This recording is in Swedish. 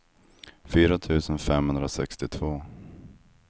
fyra tusen femhundrasextiotvå